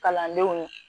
Kalandenw